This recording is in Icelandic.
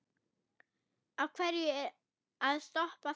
Af hverju að stoppa þar?